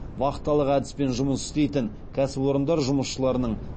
вахталық әдіспен жұмыс істейтін кәсіпорындар жұмысшыларының